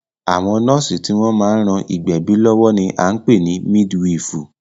Àwọn nọ́ọ̀sì tí wọ́n máa ń ran ìgbẹ̀bí lọ́wọ́ ní a ń pè ní mídwifù.